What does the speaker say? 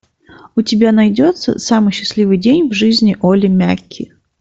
у тебя найдется самый счастливый день в жизни олли мяки